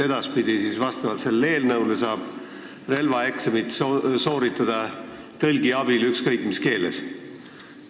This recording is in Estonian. Edaspidi saab eelnõu kohaselt relvaeksamit sooritada tõlgi abil ükskõik mis keeles.